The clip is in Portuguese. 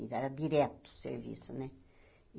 E era direto o serviço né.